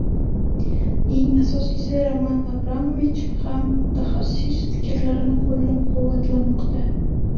Eng asosiysi, Roman Abramovich ham mutaxassis fikrlarini qo‘llab-quvvatlamoqda.